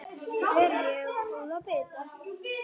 Ber ég góða bita.